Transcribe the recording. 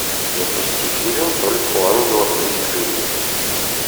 запусти фильм только у ангелов есть крылья